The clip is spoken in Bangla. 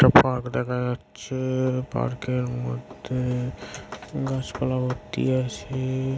একটা পার্ক দেখা যাচ্ছে_এ পার্ক -এর মধ্যে_এ গাছপালা ভর্তি আছে_এ।